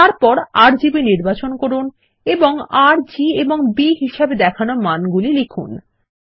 তারপর আরজিবি নির্বাচন করুন এবং আর জি এবং B হিসাবে দেখানো মানগুলি লিখুন